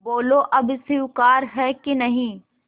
बोलो अब स्वीकार है कि नहीं